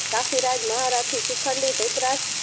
કાખીરાજ મહારાજ થી શિખંડી દ્રુતરાષ્ટ્રં